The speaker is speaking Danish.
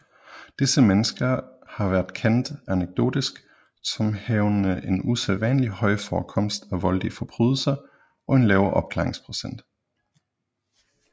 Disse mennesker har været kendt anekdotisk som havende en usædvanlig høj forekomst af voldelige forbrydelser og en lav opklaringsprocent